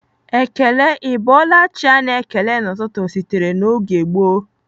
Ekele 'Ị bọọla chi' a na-ekele n'ụtụtụ sitere na oge gboo.